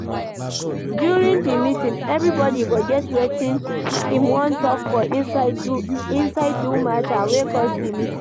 During di meeting, everybody go get wetin im wan talk for inside do matter wey cause di meeting